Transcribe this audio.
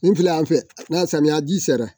Nin filɛ yan fɛ n'a samiya ji sera.